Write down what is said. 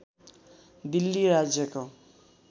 दिल्ली राज्यको